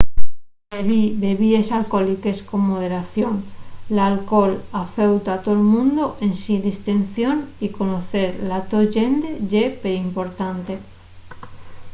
bebi bebíes alcohóliques con moderación. l’alcohol afeuta a tol mundu ensin distinción y conocer la to llende ye perimportante